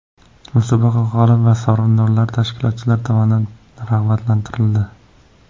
Musobaqa g‘olib va sovrindorlari tashkilotchilar tomonidan rag‘batlantirildi.